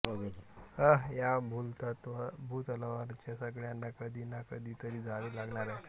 या भूतलावरच्या सगळ्यांना कधीना कधी तरी जावे लागणार आहे